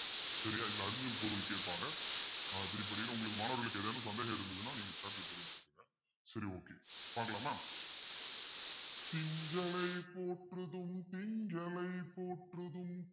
சரியா இதுல பொருள் கேப்பாங்க உங்களுக்கு மாணவர்களுக்கு ஏதேனும் சந்தேகம் இருந்ததுன்னா நீங்க சரி okay பாக்கலாமா திங்களை போற்றுதும் திங்களை போற்றுதும்